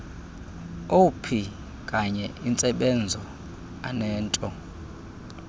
opkanye intsebenzo anento